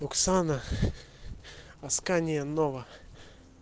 оксана аскания-нова